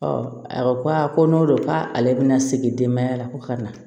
a ko a ko n'o don k'ale bɛna segin denbaya la ko ka na